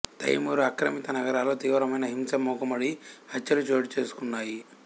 తైమూర్ ఆక్రమిత నగరాలలో తీవ్రమైన హింస మూకుమ్మడి హత్యలు చోటుచేసుకున్నాయి